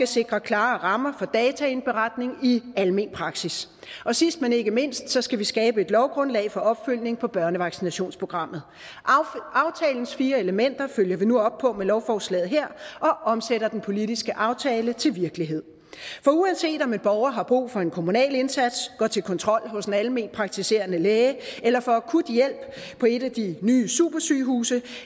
sikre klare rammer for dataindberetning i almen praksis sidst men ikke mindst skal vi skabe et lovgrundlag for opfølgning på børnevaccinationsprogrammet aftalens fire elementer følger vi nu op på med lovforslaget her og omsætter den politiske aftale til virkelighed for uanset om en borger har brug for en kommunal indsats går til kontrol hos en almenpraktiserende læge eller får akut hjælp på et af de nye supersygehuse